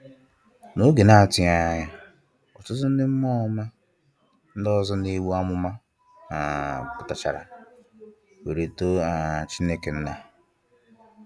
N’oge na-atụghị anya ya, ọtụtụ ndị mmụọ ọma ndị ọzọ na-egbu amụma um pụta-chara, were too um Chineke Nna.